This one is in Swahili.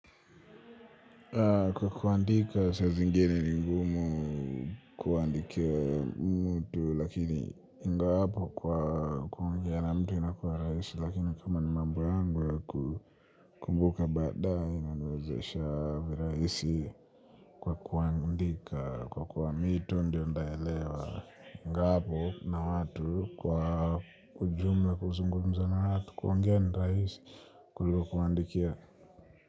Kwa kuandika saa zingine ni ngumu kuandikia mtu lakini ingapo kwa kuongea na mtu inakua raisi lakini kama ni mambo yangu kumbuka baada inaniwezesha viraisi kwa kuandika kwa kuwa mi tu ndio ntaelewa ingapo na watu kwa ujumla kuzungumza na watu kuongea ni rahisi kuliko kuwaandikia.